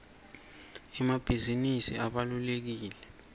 emabhizinisi abalulekile